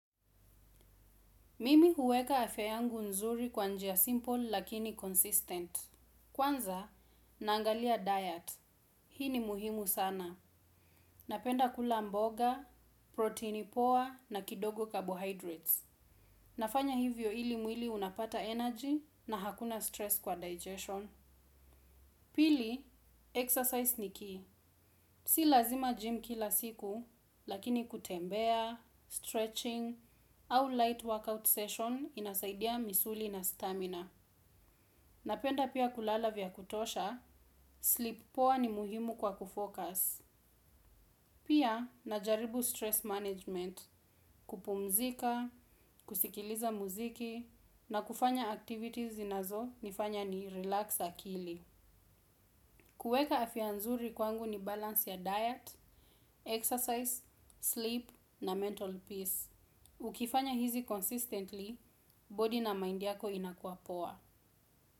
Mimi huweka afya yangu nzuri kwa njia simple lakini consistent. Kwanza, naangalia diet. Hii ni muhimu sana. Napenda kula mboga, proteini poa na kidogo carbohydrates, nafanya hivyo ili mwili unapata energy na hakuna stress kwa digestion. Pili, exercise ni ki. Si lazima gym kila siku, lakini kutembea, stretching au light workout session inasaidia misuli na stamina. Napenda pia kulala vya kutosha sleep poa ni muhimu kwa ku focus. Pia, najaribu stress management, kupumzika, kusikiliza muziki na kufanya activities zinazo nifanya ni relax akili. Kueka afya nzuri kwangu ni balance ya diet, exercise, sleep na mental peace. Ukifanya hizi consistently, body na mind yako inakua poa.